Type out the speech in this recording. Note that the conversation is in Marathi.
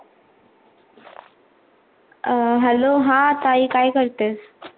अं Hello हा ताई काय करतेस?